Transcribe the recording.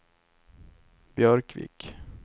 Björkvik